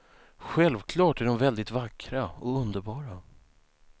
Självklart är de väldigt vackra och underbara.